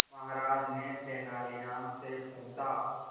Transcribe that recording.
महाराज ने तेनालीराम से पूछा